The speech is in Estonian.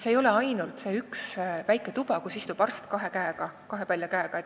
Seal ei ole ainult üks väike tuba, kus istub arst kahe palja käega.